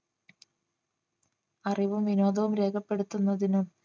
അറിവും വിനോദവും രേഖപ്പെടുത്തുന്നതിനും